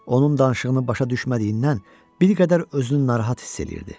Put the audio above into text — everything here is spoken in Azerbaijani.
Onun danışığını başa düşmədiyindən bir qədər özünü narahat hiss eləyirdi.